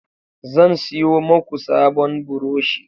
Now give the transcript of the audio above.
Zan siyo maku sabon buroshi